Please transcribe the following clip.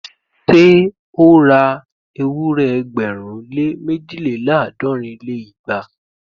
Ṣé ó ra ewúrẹ́ ẹgbẹ̀rún lé méjìléláàádọ́rin lé igba?